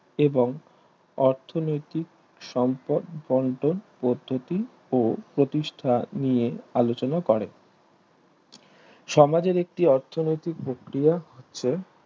এবং অর্থনৈতিক সম্পর্ন বন্টন পদ্ধতি ও প্রতিষ্ঠা নিয়ে আলোচনা করে সমাজের একটি অর্থনৈতিক প্রক্রিয়া হচ্ছে